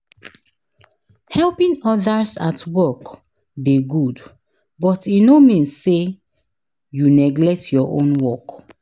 Helping others at work dey good, but e no mean say you neglect your own work.